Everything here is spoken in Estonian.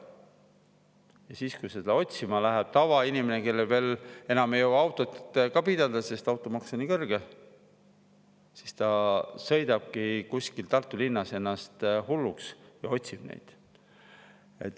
Ja siis, kui seda läheb otsima tavainimene, kes enam ei jõua autot ka pidada, sest automaks on nii kõrge, siis ta sõidabki kuskil Tartu linnas ennast hulluks ja otsib seda taga.